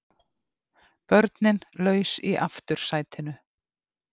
Börnin laus í aftursætinu